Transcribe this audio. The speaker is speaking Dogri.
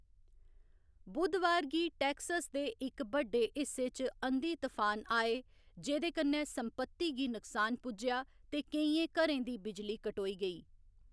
बु़धवार गी टेक्सस दे इक बड्डे हिस्से च अंधी तफान आए, जेह्कन्नै संपत्ति गी नुकसान पुज्जेआ ते केइयें घरें दी बिजली कटोई गेई।